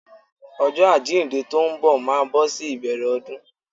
Ọjọ́ àjíǹde tó ń bọ̀ máa bọ́ sí ìbẹ̀rẹ̀ ọdún.